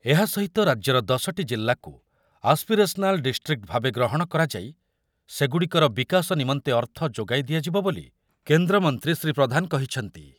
ଏହା ସହିତ ରାଜ୍ୟର ଦଶ ଟି ଜିଲ୍ଲାକୁ ଆସ୍ପିରେସ୍ନାଲ୍ ଡିଷ୍ଟ୍ରିକ୍ଟ ଭାବେ ଗ୍ରହଣ କରାଯାଇ ସେଗୁଡ଼ିକର ବିକାଶ ନମନ୍ତେ ଅର୍ଥ ଯୋଗାଇ ଦିଆଯିବ ବୋଲି କେନ୍ଦ୍ରମନ୍ତ୍ରୀ ଶ୍ରୀ ପ୍ରଧାନ କହିଛନ୍ତି।